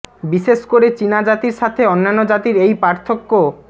বিশেষ করে চীনা জাতির সাথে অন্যান্য জাতির এই পার্থক্য